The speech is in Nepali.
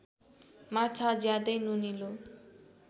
माछा ज्यादै नुनिलो